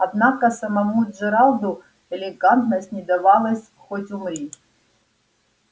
однако самому джералду элегантность не давалась хоть умри